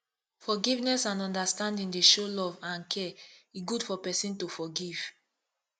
forgiveness and understanding dey show love and care e good for pesin to forgive